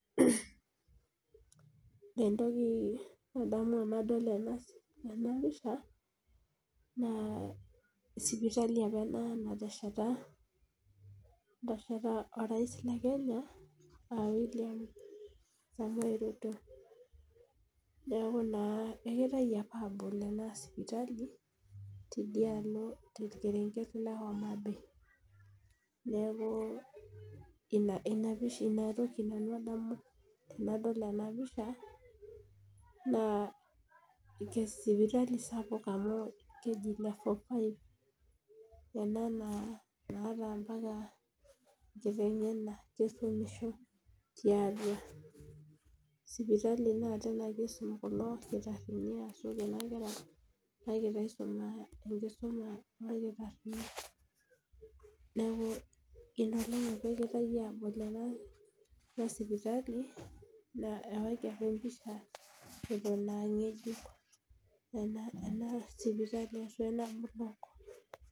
Ore entoki nadamu tenadol ena pisha. naa sipitali apa ena natesheta orais le kenya.aa William samoei ruto. naa kegirae apa aabol ena sipitali torkerenket le homabay. neeku inatoki nanu adamu tenadol ena pisha. naa sipitali ena sapuk oleng amu keji level 5 ena naata mpaka ntokitin enyenak. sipitali naa kisumi olkitarini ashu Kuna kera enkisuma noolkitarini. neku Ina olong apa egirae aabol ena sipitali, ewaiki apa empisha Eton a ngejuk ena sipitali.